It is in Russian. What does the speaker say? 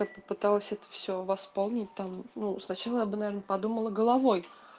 я б попыталась это все восполнить там ну сначала я бы наверное подумала головой